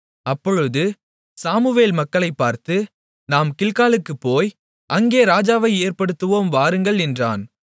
அப்பொழுது சாமுவேல் மக்களைப் பார்த்து நாம் கில்காலுக்குப் போய் அங்கே ராஜாவை ஏற்படுத்துவோம் வாருங்கள் என்றான்